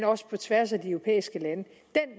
også på tværs af de europæiske lande